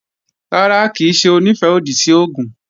Rárá, kì í ṣe Onífẹ́-òdì sí oògùn